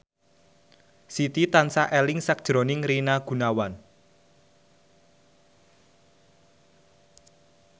Siti tansah eling sakjroning Rina Gunawan